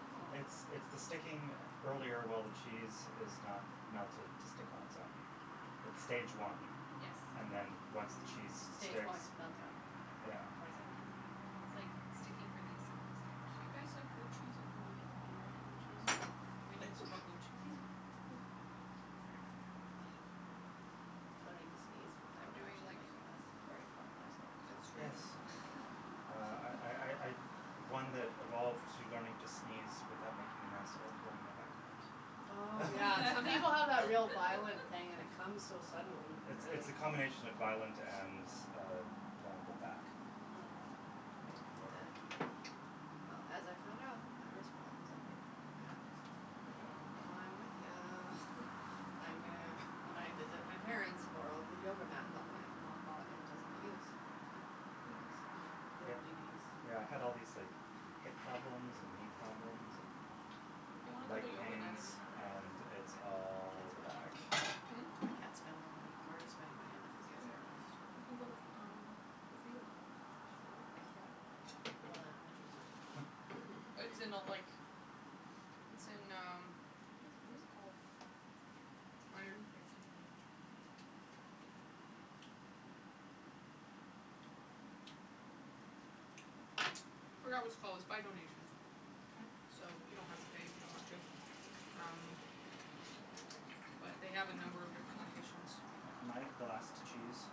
Oh It's it's the sticking earlier while the cheese is not melted to stick on it's own. Wow It's stage Yeah one, Yes and then once the cheese Stage sticks, one meltdown, yeah twenty seventeen It's like, sticking for the assembly Do stage. you guys like blue cheese? I know you don't. Do you like blue cheese? Okay, we need some excuse more blue cheese. me, Ah Learning to sneeze I'm without doing actually like making a mess, very important life skill It's really Yes true Uh I I I I'm one that evolved to learning to sneeze without making a mess or throwing my back out. Oh yeah, some people have that real violent thing and it comes so Um, suddenly, you could it's it's really the combination of violent and uh vulnerable back, Mm um make for Yeah Well as I found out, my wrist problems emanate from my back. So, Mhm Yeah Mm I'm with ya. I am gonna, when I visit my parents borrow the yoga mat that my mom bought and does not use. So Yes, Mhm so yep, yoga DVDs yeah I had all these like hip problems and knee problems If you wanna and go leg to yoga Natty pains we can go together. and I can't it's all the spend more back money. Hmm? I can't spend more money. I'm already spending money on the You can, physiotherapist you can go to f um, the free yoga There's free yoga? Yep Well then I'm interested. Hm It's in a like, it's in um, what is what is it called? There's room for a second Forgot what it's called, it's by donation Okay So you don't have to pay if you don't want to, um, but they have a number of different locations. Am I the last cheese?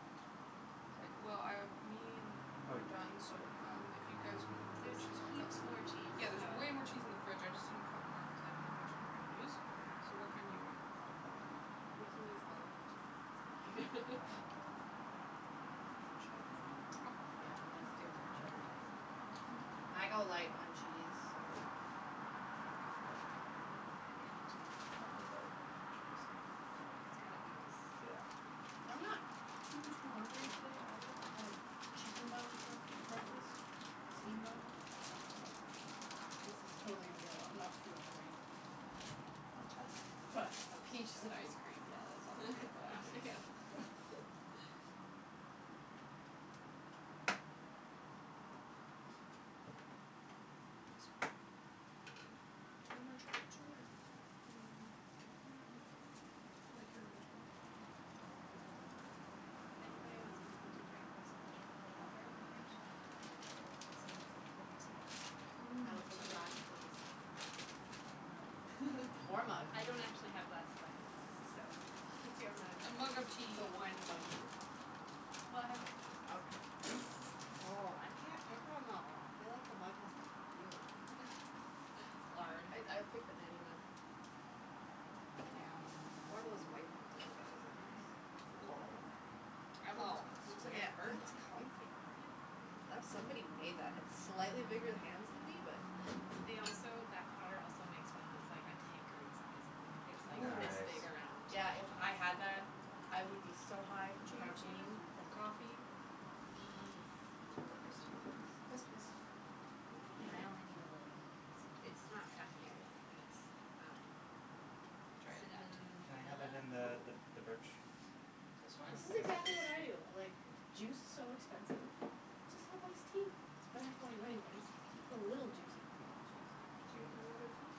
Mkay Well, um, me and- Oh we're you done, so um, if you guys want more blue There's cheese I'll cut heaps some more cheese Yeah there's so way more cheese in the fridge I just didn't cut more cuz I didn't know how much we were gonna use So what kind do you want and I'll cut it I for you. I I We can use all of the cheese, it's fine. Uh, more cheddar maybe? Okay Yeah I'm gonna steal more cheddar too so Yeah Mkay I go light on cheese so, I Uh think I'm good now. I go heavy on the cheese. I go very heavy on the cheese. Sorry. It's gotta ooze. Yeah That's the I'm key. not too too hungry today either, I had a chicken bun for breakfast, steamed bun, but this is totally going to be a lo 'nough food for me Want cheddar? I had But, toast so peaches and ice cream yeah there's always room for that. That's good. Do you want more cheddar too or you okay? Mm, nah I'm okay. I like your arrangement. Mm Anybody wants anything to drink there's a pitcher of cold water in the fridge and some cold tea. Mmm I will take a glass tea please. Or a mug Or mug I don't actually have glasses I have mugs, so, Oh, that's pick your mug. A awesome. mug of tea So wine in a mug too? Well I have wine glasses. Okay Oh I can't pick one though. I feel like the mug has to pick you. It's hard. I I'd pick the Natty mug Yeah. Or one That's the of one those I'm white ones. Those look mhm nice. I'd want this Oh one cuz it looks like it yeah has birds on that's it comfy. Isn't That it pretty? somebody made that had slightly bigger hands than me but They also that potter also makes one that's like a tankard size mug, it's like Ooo this Nice! big around Yeah if I had that I would be so high from Do you want tea caffeine Matthew? from coffee Uh, yes You want iced tea? please Yes please You too? I only need a little bit please. It's not caffeinated and it's um Try it that cinnamon Can I have vanilla? it in the th the birch This one? Yes This is yes exactly what I please do. Like, juice's so expensive. Just have iced tea, it's better for you anyways, you put a little juice in if you want juice Do you want a mug of tea?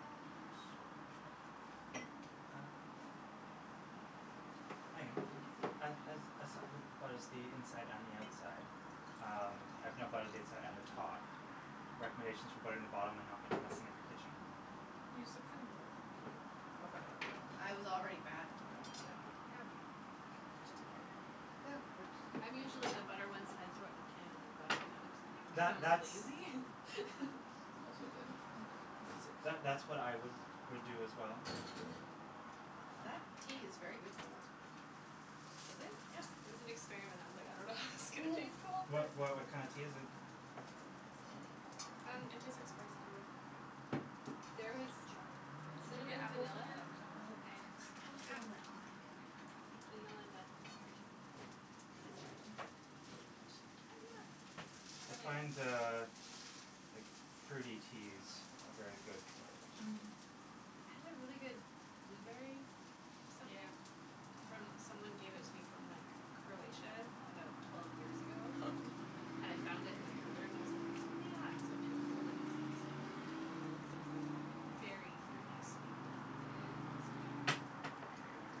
Um, sure Okay Uh Meagan, Yes as as as som who butters the inside and the outside, um, I've now buttered the inside and the top, recommendations for buttering the bottom and not m messing up your kitchen? Use the cutting board Okay I was already bad and put it on the counter. Eh whatever Just butter Yeah I jus I'm usually the butter one side throw it in the pan and then butter the other side That cuz I'm that's lazy. Also good See that that's what I would would do as well. That Um tea is very good cold. Is it? Yeah It was an experiment, I was like, I don't know how this is gonna taste cold What but why what kinda tea is it? Like cinamonny Um It Hmm tastes like spice tea, yeah Yeah There is Chai kinda Did you get cinnamon, apples on vanilla your sandwich? No, and I was the ah one that wanted it, I forgot thank you vanilla nut cream This is hard to flip, the sandwich, I find hiyah! uh like fruity teas are very good cold. Mhm Mhm I had a really good blueberry something Yeah from someone gave it to me from like Croatia about twelve years ago I found it in the cupboard and I was like "oh yeah" so I made it cold and it was awesome, cuz it was like berry fruity sweet but not like Mmm overly sweet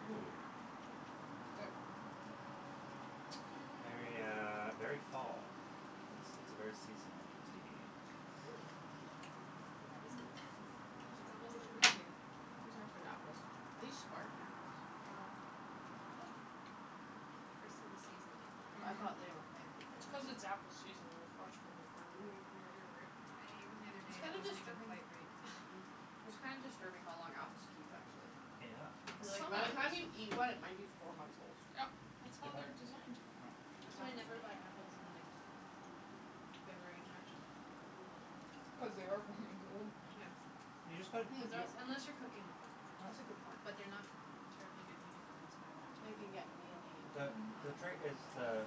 Ooh That's good. Very uh very fall, it's it's a very seasonal tea. Hm Oh that is good. This It's apple almost is so like root good. beer. These are good apples, are these spartan apples? Gala Hm First of the season gala I Mhm thought they were fancy It's cuz fancy. it's apple season and they're fresh from the farm, like, mhm near here right? I ate one the other day It's and it kinda wasn't even disturbing quite ripe. it's kinda disturbing how long apples keep actually. Yep Cuz like Some by the time you apples eat one it might be four months old. Yep, that's how they're designed. That's why I never buy apples in like February March Mm Cuz they are four months old. Yeah You just gotta, hm Because they're yeah als- unless you're cooking with them That's a Yep good point. But they're not terribly good eating apples by that They time. can get mealy and The Mhm the yeah trait is the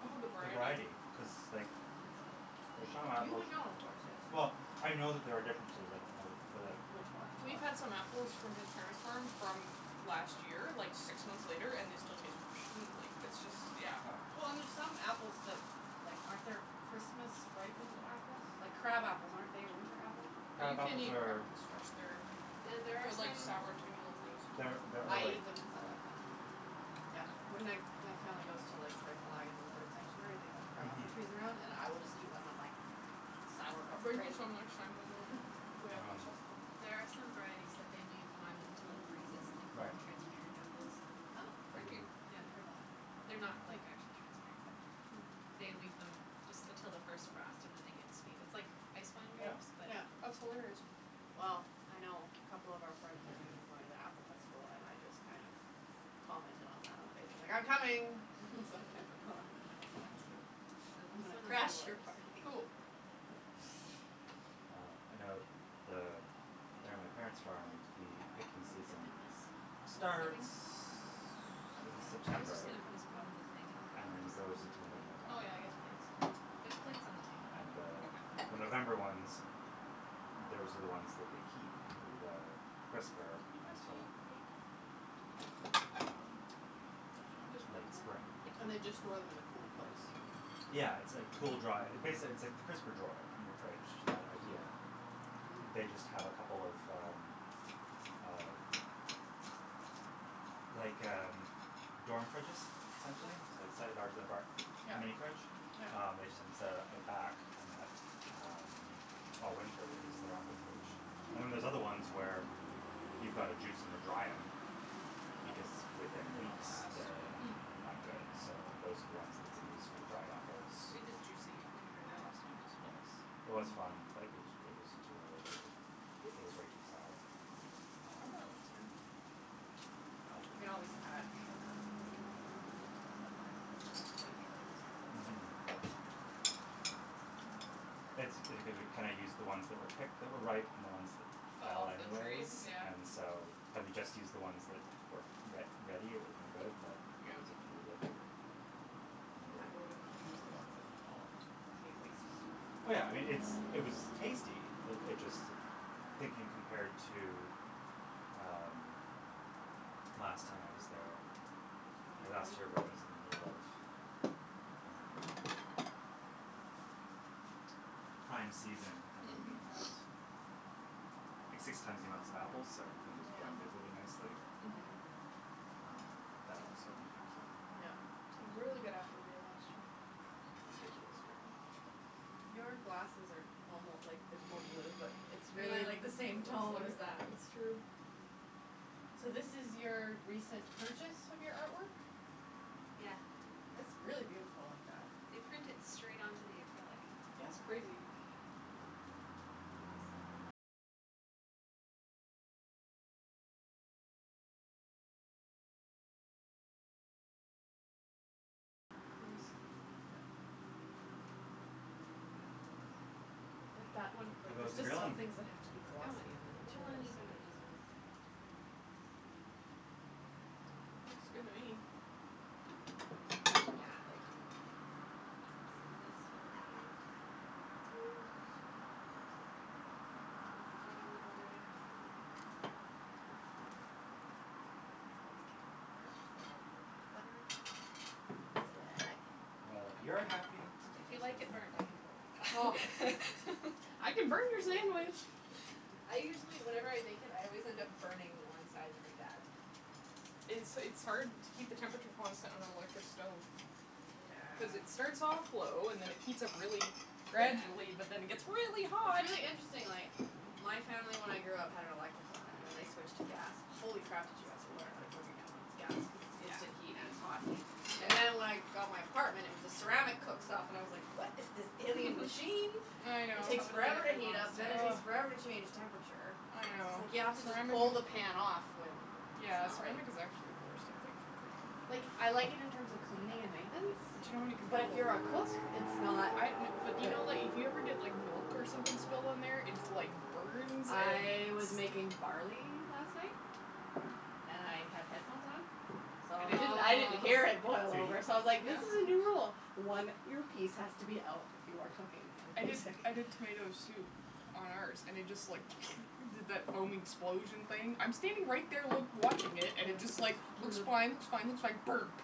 All the the variety variety cuz like, f for some You apples, would know of course yes well, I know that there are differences I don't know but like Which ones We've but had some apples from his parents' farm from last year, like six months later, and they still taste fresh Mm like it's just, yeah Well and there's some apples that like, aren't there Christmas ripened apples, like crab apples, aren't they a winter apple? Well you Crab can't apples eat crab are apples fresh, they're, And there are they're like some sour tiny little things, you can't They're eat them they're I fresh. ate them cuz I like them. Yeah when I my family goes to like Reifel Island Bird Sanctuary they have crab Mhm apples trees around and I will just eat one and I'm like Sour but I'll it's bring you great! some next time we go, if we have Um There are some varieties that they leave on until it freezes and they call Right them transparent apples. Oh, Freaky Mhm Yeah haven't heard that. They're not Cool like, Yeah actually transparent but They leave them just until the first frost and then they get sweet, it's like ice wine Yeah grapes but Yeah apple That's hilarious Mm Well Mm I know a couple of our friends are going to be going to the apple festival and I just kind of commented on that on Facebook li "I'm coming!" Cuz I've never gone and I want to. Yeah So I'm this gonna one is crash you're yours. party! Cool That one's Mm mine. well I know th the there on my Why parent's farm don't you the picking put, some season dip in this, for starts dipping, is that okay? Oh in yeah, I was September just gonna put a spoon in the thing and and everyone can then just throw goes it on their until mid plate but Oh November. yeah I guess plates too There's plates on the Um table. and the Okay the November ones, those are the ones that they keep in the crisper Can you pass me until a plate? Um you know This one's late mine? Spring Oh mhm Yeah And they just store them in a cool place? I can Yeah it's like cool dry, basically it it's like the crisper drawer in your fridge, that idea They just have a couple of um Mm uh Like um, dorm fridges essentially like a bar, a Yep mini fridge, yep um they just have them set up at the back and that all winter is their apple fridge And then there's Hm other ones where, you've gotta juice em or dry em because within They don''t weeks last, they're yeah Hm not good, so those are the ones that they use for the dried apples. We did juicing when we were there Um last time, it was fun yes, it was fun but it was it was too early they were it was Whoops! way too sour, Mm I thought That it um was was too bad fine. But You can always add sugar. But then you have to change your labels and all that stuff Mhm That's because we kinda used the ones that were picked that were ripe and the ones that Fell fell off the tree, anyways yeah and so, had we just used the ones that were re ready it would have been good but there Yep was a few that ruined I it. would've use the ones that had fallen too cuz I hate wasting stuff. Oh yeah I mean, it's it was tasty, uh it just thinking compared to um, last time I was there, or last year when it was in the middle of um Prime season and then we Mhm had six times the amount of apples so everything was blended really nicely. Mhm Mhm Um that also impacts it. Yep It was a really good apple year last year Was a ridiculous year Your glasses are almo like there's more blue but it's Ah, really it like the looks same tone as like, that that's true So this is your recent purchase of your artwork? Yeah It's really beautiful like that. They print it straight onto the acrylic. Yeah That's crazy. yeah Nice Yep Yeah But that one How like there's goes the just some grilling? things that have to be It's going. glossy and It's that a little material is so uneven on good for these that. ones, I have to say but Oh It's Looks good okay. to me! Those are done. Another Hiyah! plate So this will be Matthew's! And this is light on the butter enough for you I always get mine burnt cuz I don't put much butter on That's the way I like it. Well if you're happy It's If you delicious. then like it I'm burnt I can happy. throw it back on. I can burn your sandwich! I usually whenever I bake it I always end up burning one side pretty bad It's it's hard to keep the temperature constant on an electric stove. Cuz it Yeah starts off low, and then it heats up really It's Yeah gradually but then it gets really it's hot! really interesting like my family when I grew up had an electric one and then I switched to gas, holy crap did you have to learn how to cook again when it's gas cuz it's instant heat and it's hot heat And then when I got my apartment it was a ceramic cooktop and I was like "what is this alien machine?" I It know, takes Totally forever to different heat up then it monster ugh, takes forever to change temperature. I Just know like you have to just Ceramic pull is, the pan off whe it's yeah not right ceramic is actually the worst I think for cooking. Like I like it in terms We of could cleaning probably and fit the maintenance veggie thing But you don't on have any the but control if table. you're a cook, it's not Good Yeah but do idea. you good know like, if you ever get like milk or something spilled on there its like burns and I was sti making barley last night. And I had headphones on, so And it didn't I didn't hear it boil Oh! over so I was like "this Yeah is a new rule, one earpiece has to be out when you are cooking with I did music". I did tomato soup on ours and it just like did that foam explosion thing, I'm standing right there loo watching it and it just like, looks fine looks fine looks fine...burp!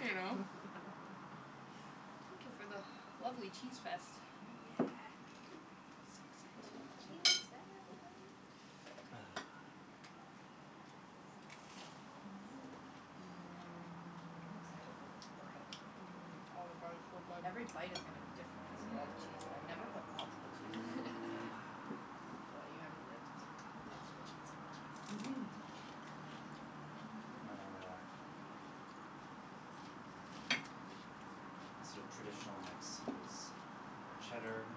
You know? Thank you for the lovely cheese fest. Yeah Yeah Cheese fest! Mmm I'm excited Mmm for this bread. mmm, oh the bread is so good, Every bite is gonna to be different cuz of all mhm the cheese. I've never put multiple cheeses in. Ahh Well you haven't lived until you've had a multiple cheese grilled cheese. Mhm My uh Yes My sorta traditional mix is cheddar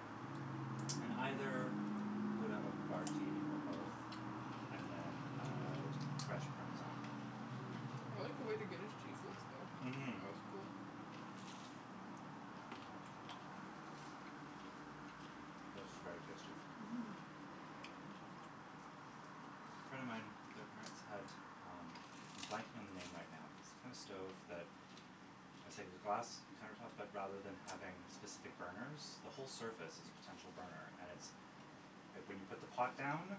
and either grouda or I havarti or both and then uh fresh parmesan. like the way the Guinness cheese looks though, it Mhm looks cool. mhm This is very tasty. Mhm A friend of mine, their parents had, um, I'm blanking on the name right now but it's the kinda stove that, it's like the glass counter tops but rather than having specific burners, the whole surface is a potential burner and it's like when you put the pot down,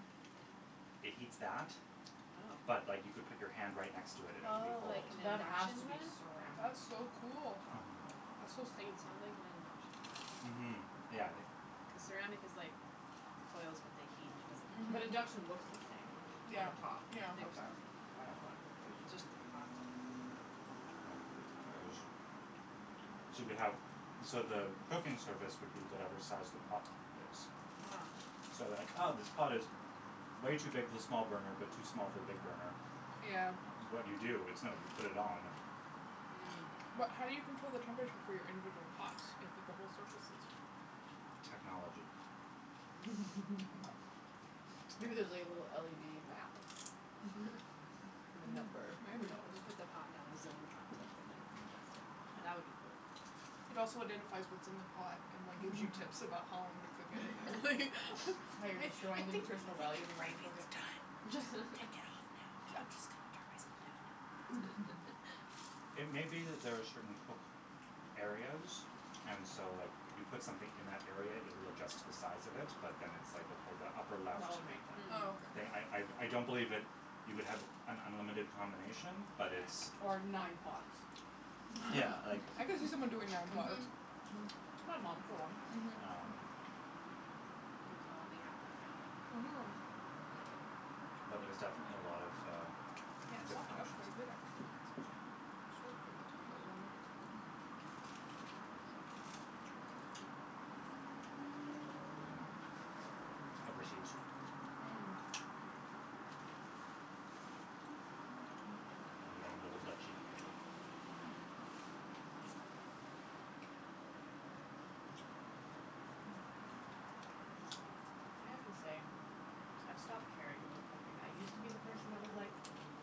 it heats that oh but like you could put your hand right next to it and it would be Oh, like cold. an That has induction to be one? ceramic That's so cool! top Mhm. That's so safe. It sound like an induction one, Mhm, yeah, I think cuz ceramic is like, the coils but they heat and it doesn't But Mhm. I think induction so. looks the same Yeah, on the top? yeah. Okay, k that's why I'm confused. It's just the path are different. Oh. Yeah. Yeah, it was so you could have, so the cooking surface would be whatever size the pot is. So then like ah, this pot is way too big for the small burner but too small for the big burner, Yeah. what do you do? It's no, you put it on. Mm. But how do you control the temperature for your individual pots, if at the whole surface is Technology. Okay. Maybe there's like a little LED map with a Hmm. number. Maybe. Who knows? You put the pot down, the zone pops up and then you put your in. That would be cool. It also identifies what's in the pot, and like gives you tips about how long to cook it, and, like Yeah. like, "I How you're think, I destroying the think your nutritional value the more you gravy cook is it. done, just, take it off now, b- I'm just gonna turn myself down now, if that's okay." It may be that there are certain cook areas and so like, you put something in that area it will adjust to the size of it, but then it's like, okay the upper left. That would make sense. Oh But I, I, okay. I don't believe that you would have an unlimited combination, but it's Or nine pots. Yeah, like I can see someone doing nine pots. Mhm. Mhm. My mom, for one. Um Good call on the apple by the way. Mhm. Mhm. I like it. But there's definitely a lot of, uh, Yeah, it different softened up options. quite a bit actually Yes. considering how short of a time it was on there. Mhm. This was in overseas. Mm. In the Grand Old Duchy. I have to say, I've stopped caring about cooking. I used to be the person that was like,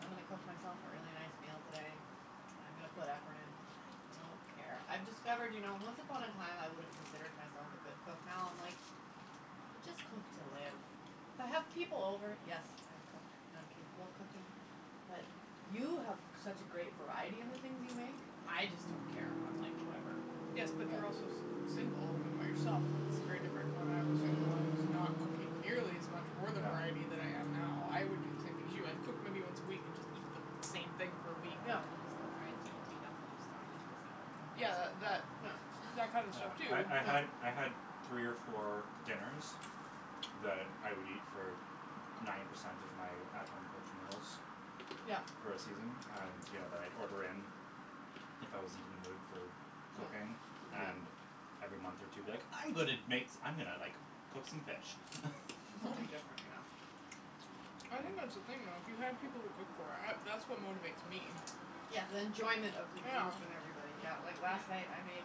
"I'm gonna cook myself a really nice meal today, and I'm gonna put effort in." I don't care. I've discovered you know, once upon a time I would've considered myself a good cook now I'm like, you just cook to live. If I have people over, yes, I cook, and I'm capable of cooking, but you have such a great variety in the things you make. I just don't care, I'm like, "Whatever." Yes Yeah. but they're also s- single, when you're by yourself it's very different. When I was single I was not cooking nearly as much or the variety that I am now. I would do the Yeah. same thing as you. I've cooked many once a week and just eat the same Yeah. thing for a week. I miss the fried T&T dumplings thrown Yeah. into a salad compressor. Yeah, that that kind of stuff too. Yeah, I'm sure I I had, I had, three or four Yeah. dinners, that I would eat for n- ninety percent of my at home cooked meals, Yeah. for a season, and, you know, that I'd order in. Yep. If I wasn't in the mood for cooking, and every month or two be like, "I'm gonna Yeah. make s- , I'm gonna like, cook some fish." Um Something different, Mhm. I think that's the thing though, if you had people to cook for, I, that's what motivates me. yeah. Yeah, the enjoyment of the group and Yeah. everybody. Yeah, like last night I made